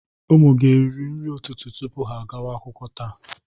Ụmụ gị eriri nri ụtụtụ tupu ha agawa akwụkwọ taa?